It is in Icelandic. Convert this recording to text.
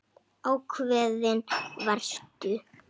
Ákveðin varstu.